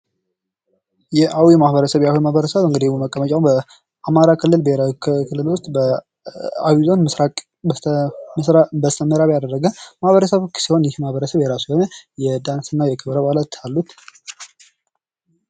የአዊ ማህበረሰብ:- የአዊ ማህበረሰብ መቀመጫዉ በአማራ ክልል ብሔራዊ መንግስታዊ ክልል ዉስጥ በአዊ ዞን በስተ ምስራቅ በምዕራብ ያደረገ ማህበረሰብ ሲሆን የራሱ የሆነ የዳንስ እና ክብረ በዓላት አሉት።